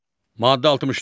Maddə 64.